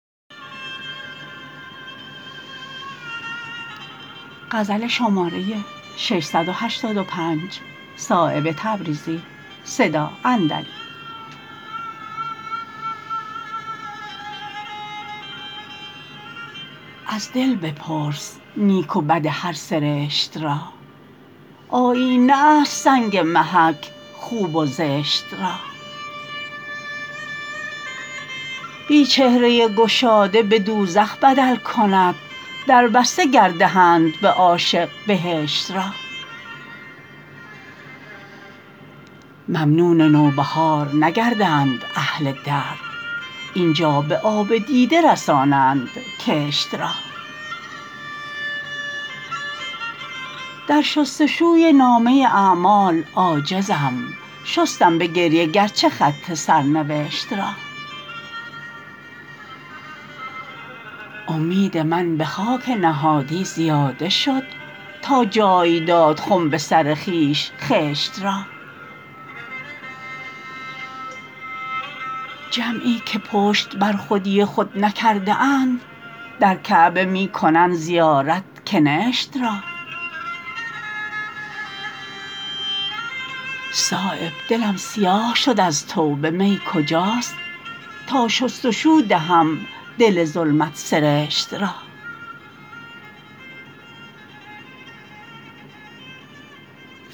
از دل بپرس نیک و بد هر سرشت را آیینه است سنگ محک خوب و زشت را بی چهره گشاده به دوزخ بدل کند دربسته گر دهند به عاشق بهشت را ممنون نوبهار نگردند اهل درد اینجا به آب دیده رسانند کشت را در شستشوی نامه اعمال عاجزم شستم به گریه گرچه خط سرنوشت را امید من به خاک نهادی زیاده شد تا جای داد خم به سر خویش خشت را جمعی که پشت بر خودی خود نکرده اند در کعبه می کنند زیارت کنشت را صایب دلم سیاه شد از توبه می کجاست تا شستشو دهم دل ظلمت سرشت را